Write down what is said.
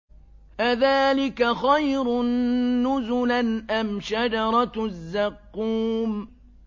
أَذَٰلِكَ خَيْرٌ نُّزُلًا أَمْ شَجَرَةُ الزَّقُّومِ